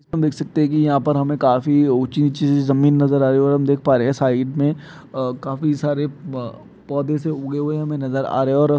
और हम देख सकते हैं कि यहाँ पर हमें काफी ऊंची ऊंची जमीन नज़र आ रही है आप देख पा रहे हैं साइड मे अ काफी सारे नज़र आ रहे हैं और --